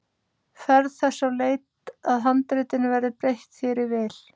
Ferð þess á leit að handritinu verði breytt þér í vil.